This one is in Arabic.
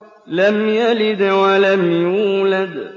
لَمْ يَلِدْ وَلَمْ يُولَدْ